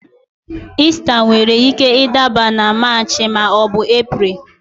Ista nwere ike ịdaba na Maachị maọbu Epreel